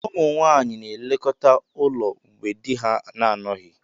Ụmụ nwanyị na-elekọta ụlọ mgbe di ha na-anọghị.